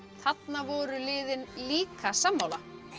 þarna voru liðin líka sammála